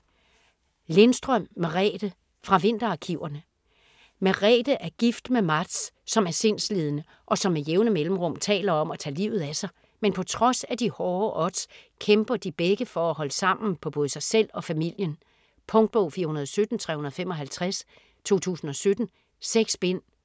Lindstrøm, Merethe: Fra vinterarkiverne Merethe er gift med Mats, som er sindslidende, og som med jævne mellemrum taler om at tage livet af sig. Men på trods af de hårde odds kæmper de begge for at holde sammen på både sig selv og familien. Punktbog 417355 2017. 6 bind.